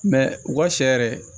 u ka sɛ yɛrɛ